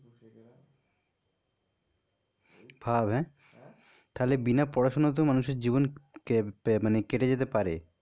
ভাব হ্যাঁ? তাহলে বিনা পড়াশোনাতে ও মানুষের জীবন কে বে মানে কেটে যেতে পারে.